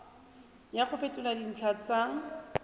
ya go fetola dintlha tsa